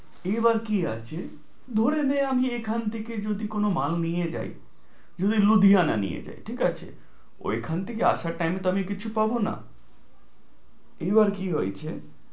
এই বার কি আছে ধরে নে আমি এখান থেকে যদি কোনো মাল নিয়ে যাই, যদি লুধিয়ানা নিয়ে যাই, ঠিক আছে? ওই খান থেকে আসার time তো আমি কিছু পাব না, এইবার কি হয়েছে